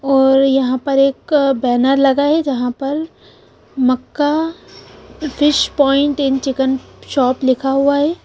और यहाँ पर एक बैनर लगा है जहाँ पर Makkar fish point and chicken point लिखा हुआ है।